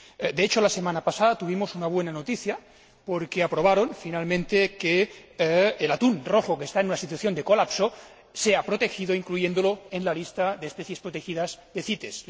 De hecho, la semana pasada tuvimos una buena noticia, porque aprobaron, finalmente, que el atún rojo, que está en una situación de colapso, sea protegido incluyéndolo en la lista de especies protegidas de CITES.